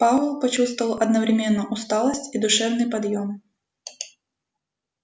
пауэлл почувствовал одновременно усталость и душевный подъем